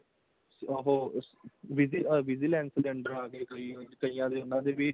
ਉਹ ਵੀਜ਼ੀ vigilance ਦੇ under ਆਗੇ ਕਈਆਂ ਦੇ ਉਹਨਾ ਦੇ ਵੀ